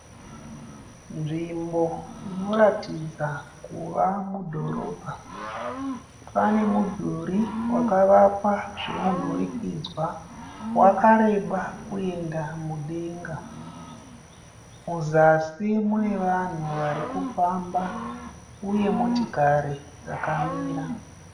Nzvimbo inoratidza kuva mudhorobha. Pane mudhuri wakavakwa zvemunhurikidzwa wakareba kuenda mudenga. Muzasi mune vanhu varikufamba uye motikari dzakamira.